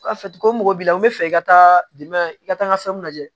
Ko mɔgɔ b'i la u bɛ fɛ i ka taa dɛmɛ i ka taa n ka fɛnw lajɛ